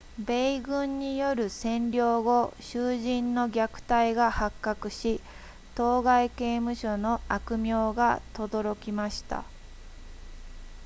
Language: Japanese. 米軍による占領後囚人の虐待が発覚し当該刑務所の悪名がとどろきました